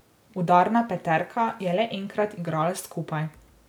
Udarna peterka je le enkrat igrala skupaj.